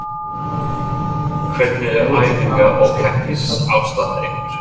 Hvernig er æfinga og keppnisaðstaða ykkar?